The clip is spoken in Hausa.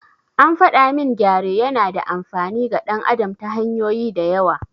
An faɗa min gyare yana da amfani ga ɗan adam ta hanyoyi da yawa.